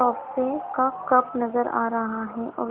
Coffee का cup नज़र आरहा हैऔर।